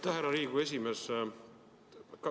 Aitäh, härra Riigikogu esimees!